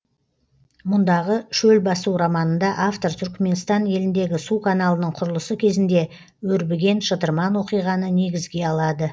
мұндағы шөл басу романында автор түрікменстан еліндегі су каналының құрылысы кезінде өрбіген шытырман оқиғаны негізге алады